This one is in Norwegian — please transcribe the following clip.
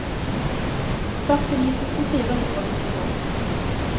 førtini tusen fire hundre og syttito